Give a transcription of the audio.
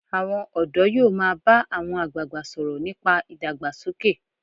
Àwọn ọ̀dọ́ yóò máa bá àwọn àgbagbà sọ̀rọ̀ nípa ìdàgbàsókè.